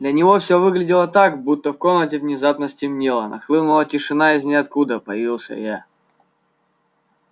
для него всё выглядело так будто в комнате внезапно стемнело нахлынула тишина и из ниоткуда появился я